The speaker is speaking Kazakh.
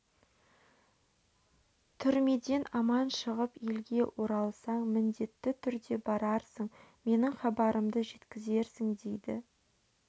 түрмеден аман шығып елге оралсаң міндетті түрде барарсың менің хабарымды жеткізерсің дейді